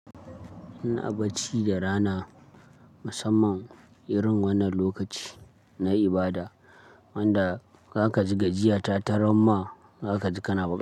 Ina bacci da rana, musamman irin wannan lokaci na ibada wanda zaka ji gajiya ta taran ma zaka ji kana bacci.